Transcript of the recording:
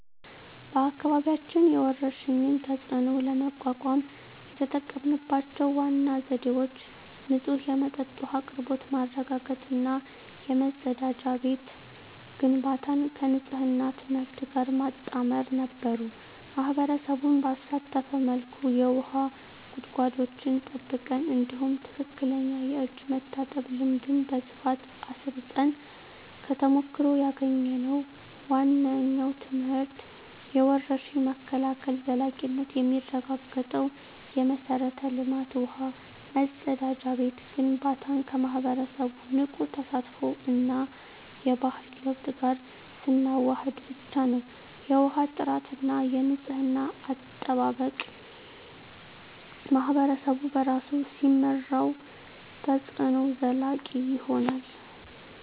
በአካባቢያችን የወረርሽኝን ተፅዕኖ ለመቋቋም የተጠቀምንባቸው ዋና ዘዴዎች ንጹህ የመጠጥ ውሃ አቅርቦት ማረጋገጥ እና የመጸዳጃ ቤት ግንባታን ከንፅህና ትምህርት ጋር ማጣመር ነበሩ። ማኅበረሰቡን ባሳተፈ መልኩ የውሃ ጉድጓዶችን ጠብቀን፣ እንዲሁም ትክክለኛ የእጅ መታጠብ ልምድን በስፋት አስረፅን። ከተሞክሮ ያገኘነው ዋነኛው ትምህርት የወረርሽኝ መከላከል ዘላቂነት የሚረጋገጠው የመሠረተ ልማት (ውሃ፣ መጸዳጃ ቤት) ግንባታን ከማኅበረሰቡ ንቁ ተሳትፎ እና የባህሪ ለውጥ ጋር ስናዋህድ ብቻ ነው። የውሃ ጥራትና የንፅህና አጠባበቅን ማኅበረሰቡ በራሱ ሲመራው፣ ተፅዕኖው ዘላቂ ይሆናል።